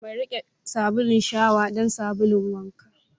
Mai riƙe sabulun shawa don sabulun wanka.